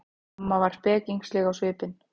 Amma var spekingsleg á svipinn.